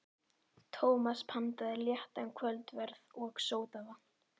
Tómas pantaði léttan kvöldverð og sódavatn.